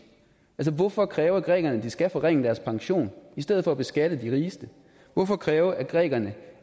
hvorfor kræve af grækerne at de skal forringe deres pension i stedet for at beskatte de rigeste hvorfor kræve af grækerne